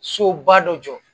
Soba dɔ jɔ